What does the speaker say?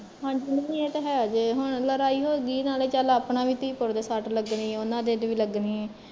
ਹਾਂਜੀ ਨਹੀਂ ਏਹ ਤੇ ਹੈ ਜੇ ਹੁਣ ਲੜਾਈ ਹੋਗੀ ਨਾਲੇ ਚੱਲ ਆਪਣਾ ਵੀ ਧੀ ਪੁੱਤ ਦੇ ਸੱਟ ਲੱਗਣੀ ਉਹਨਾਂ ਦੇ ਦੇ ਵੀ ਲੱਗਣੀ